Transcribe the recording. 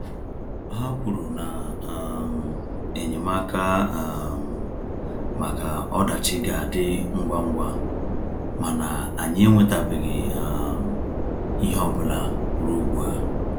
Ha kwuru na um enyemaka um maka ọdachi ga-adị ngwa ngwa, mana anyị enwetabeghị um ihe ọ bụla ruo ugbu a.